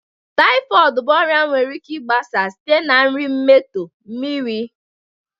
typhoid bụ ọrịa nwere ike gbasaa site na nri emetọọ, mmiri